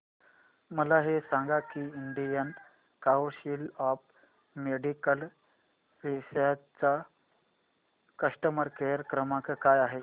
मला हे सांग की Indian council of medical research चा कस्टमर केअर क्रमांक काय आहे